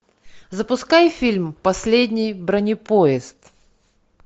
запускай фильм последний бронепоезд